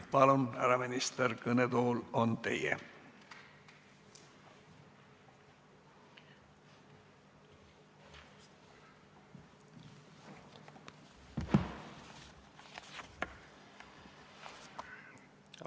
Palun, härra minister, kõnetool on teie!